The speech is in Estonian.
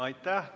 Aitäh!